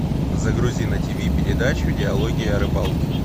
загрузи на тиви передачу диалоги о рыбалке